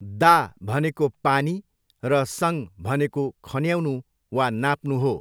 दा भनेको पानी र सङ भनेको खन्याउनु वा नाप्नु हो।